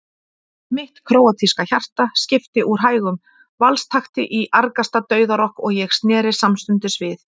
Mitt króatíska hjarta skipti úr hægum valstakti í argasta dauðarokk og ég sneri samstundis við.